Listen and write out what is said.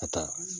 Ka taa